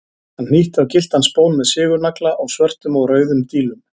Hann hnýtti á gylltan spón með sigurnagla og svörtum og rauðum dílum.